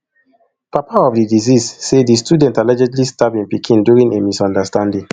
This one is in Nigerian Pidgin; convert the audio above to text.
papa of di deceased say di student allegedly stab im pikin during a misunderstanding